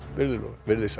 verið þið sæl